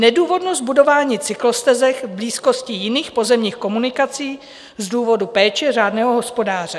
Nedůvodnost budování cyklostezek v blízkosti jiných pozemních komunikací z důvodu péče řádného hospodáře.